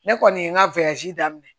Ne kɔni ye n ka daminɛ